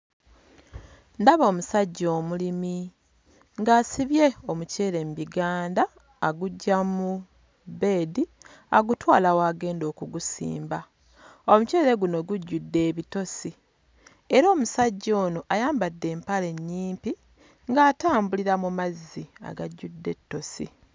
Ndaba omusajja omulimi ng'asibye omuceere mu biganda aguggya mu bbeedi agutwala w'agenda okugusimba. Omuceere guno gujjudde ebitosi era omusajja ono ayambadde empale nnyimpi ng'atambulira mu mazzi agajjudde ettosi.